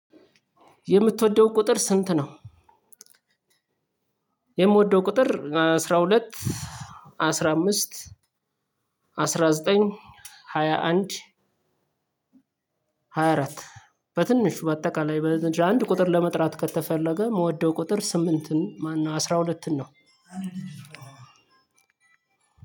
የምትወደው ቁጥር ስንት ነው? የምወደው ቁጥር አስራ ሁለት፣ አስራ አምስት፣ አስራ ዘጠኝ፣ ሃያ አንድ፣ ሃያ አረት። በትንሹ በ አጠቃላይ አንድ ቁጥር ለመጣራት ከተፈለገ ስምንትን አስራ ሁለትን ነው።